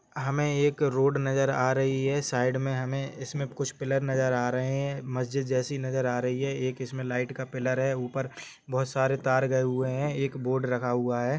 हमे एक रोड नजर आ रही है साइड में हमें इसमें कुछ पिलर नजर आ रहे हैं मस्जिद जैसी नजर आ रही है एक इसमें लाइट का पिलर है ऊपर बहुत सारे तर गए हुए हैं एक बोर्ड रखा हुआ है।